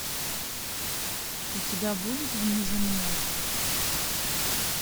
у тебя будет внеземной